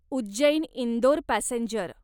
Ujjain Indore passenger